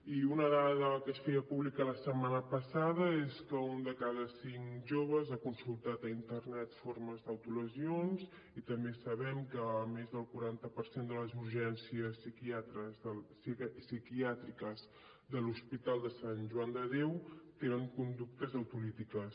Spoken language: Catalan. i una dada que es feia pública la setmana passada és que un de cada cinc joves ha consultat a internet formes d’autolesions i també sabem que més del quaranta per cent de les urgències psiquiàtriques de l’hospital sant joan de déu tenen conductes autolítiques